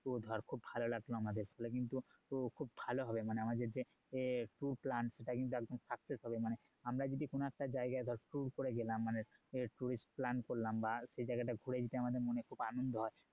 ধর খুব ভালো লাগলো আমাদের ফলে কিন্তু~ কিন্তু খুব ভালো হবে মানে আমাদের যে tour plan সেটা কিন্তু একদম success হবে মানে আমরা যদি কোনো একটা জায়গায় যদি tour করে গেলাম মানে tourist plan করলাম বা সেই জায়গাটা ঘুরে যদি আমাদের মনে খুব আনন্দ হয়